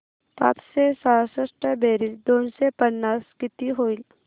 पाचशे सहासष्ट बेरीज दोनशे पन्नास किती होईल